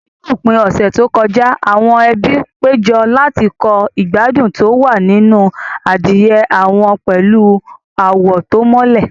Ní òpin ọ̀sẹ̀ tó kọjá, àwọn ẹbí péjọ láti kọ́ ìgbádùn tó wà nínú àdìrẹ àwọn pẹ̀lú àwọ̀ tó mọ́lẹ̀.